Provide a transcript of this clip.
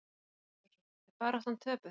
Hjörtur Hjartarson: Er baráttan töpuð?